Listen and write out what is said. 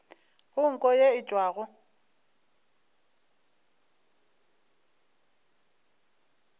go nko ye e tšwago